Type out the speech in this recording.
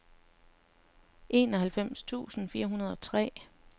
enoghalvfems tusind fire hundrede og tre